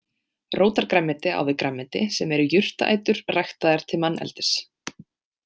Rótargrænmeti á við grænmeti, sem eru jurtarætur ræktaðar til manneldis.